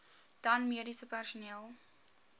dan mediese personeel